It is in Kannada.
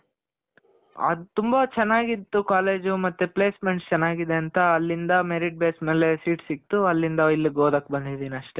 ಆ ತುಂಬ ಚೆನಾಗಿತ್ತು college ಮತ್ತೆ placements ಚೆನಾಗಿದೆ ಅಂತ ಅಲ್ಲಿಂದ merit base ಮೇಲೆ seat ಸಿಕ್ತು. ಅಲ್ಲಿಂದ ಇಲ್ಲಿಗೆ ಓದಕ್ ಬಂದಿದಿನಿ ಅಷ್ಟೆ